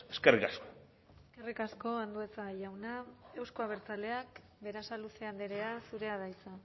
eskerrik asko eskerrik asko andueza jauna euzko abertzaleak berasaluze andrea zurea da hitza